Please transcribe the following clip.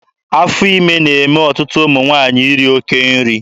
Afọ ime na-eme ọtụtụ ụmụ nwaanyị iri oke nri.